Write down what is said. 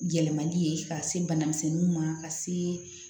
Yɛlɛmali ye ka se banamisɛnniw ma ka se